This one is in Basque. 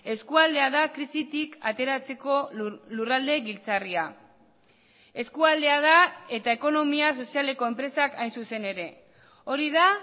eskualdea da krisitik ateratzeko lurralde giltzarria eskualdea da eta ekonomia sozialeko enpresak hain zuzen ere hori da